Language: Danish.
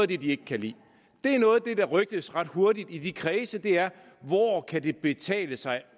de ikke kan lide noget af det der rygtes ret hurtigt i de kredse er hvor kan betale sig